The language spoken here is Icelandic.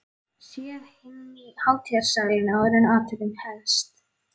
Séð inn í hátíðarsalinn, áður en athöfnin hefst.